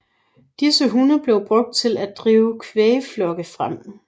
Disse hunde blev brugt til at drive kvægflokke frem